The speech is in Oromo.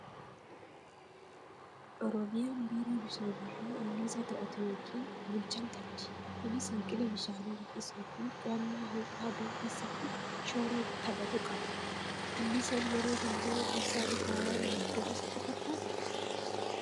Oromiyaan biiroo bishaanii fi anniisaa to'atu yookiin bulchan qabdi. Kunis hanqina bishaanii hir'isuu fi qo'annaa ho'a aduu keessatti shoora taphatu qaba. Anniisaan yeroo hundaa ibsaa irraa waan maddudha sitti fakkaataa?